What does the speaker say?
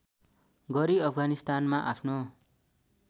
गरी अफगानिस्तानमा आफ्नो